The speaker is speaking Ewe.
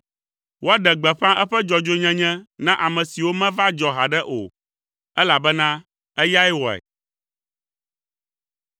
Woaɖe gbeƒã eƒe dzɔdzɔenyenye na ame siwo meva dzɔ haɖe o, elabena eyae wɔe.